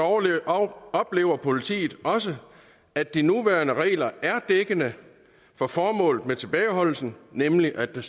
af oplever politiet også at de nuværende regler er dækkende for formålet med tilbageholdelsen nemlig at der